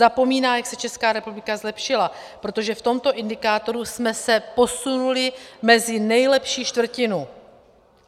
Zapomíná, jak se Česká republika zlepšila, protože v tomto indikátoru jsme se posunuli mezi nejlepší čtvrtinu.